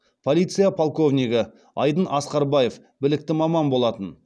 полиция полковнигі айдын асқарбаев білікті маман болатын